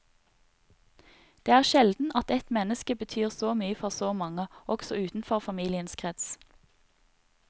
Det er sjelden at ett menneske betyr så mye for så mange, også utenfor familiens krets.